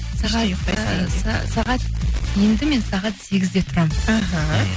сағат сағат енді мен сағат сегізде тұрамын іхі